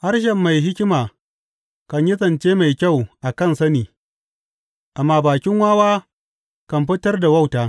Harshen mai hikima kan yi zance mai kyau a kan sani, amma bakin wawa kan fitar da wauta.